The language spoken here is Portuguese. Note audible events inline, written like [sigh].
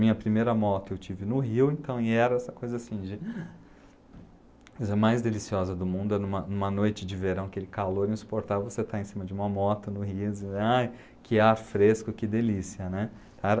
Minha primeira moto eu tive no Rio, então era essa coisa assim, de [sighs] a coisa mais deliciosa do mundo, era uma uma noite de verão, aquele calor insuportável, você estar em cima de uma moto no Rio, [unintelligible] ah, que ar fresco, que delícia, né? Então era